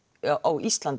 á Íslandi